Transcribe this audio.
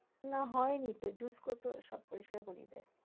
না হয়নি তো use করে তো সব পরিস্কার করিয়ে দেয়।